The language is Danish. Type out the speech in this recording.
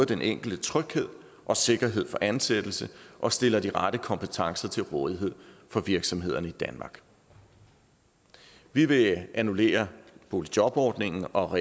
den enkelte tryghed og sikkerhed for ansættelse og stille de rette kompetencer til rådighed for virksomhederne i danmark vi vil annullere boligjobordningen og